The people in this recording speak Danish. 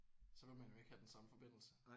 Så vil man jo ikke have den samme forbindelse